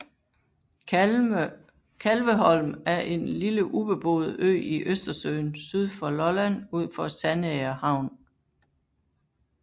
Kalveholm er en lille ubeboet ø i Østersøen syd for Lolland ud for Sandager Havn